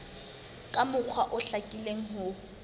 ka mokgwa o hlakileng ho